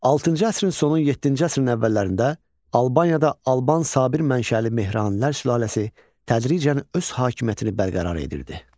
Altıncı əsrin sonu, yeddinci əsrin əvvəllərində Albaniyada Alban Sabir mənşəli Mehranilər sülaləsi tədricən öz hakimiyyətini bərqərar edirdi.